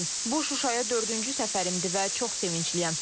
Bu Şuşaya dördüncü səfərimdir və çox sevincliyəm.